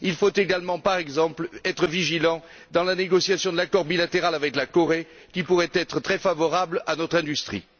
Il faut également, par exemple, être vigilant dans la négociation de l'accord bilatéral avec la Corée, qui pourrait être très favorable à notre industrie.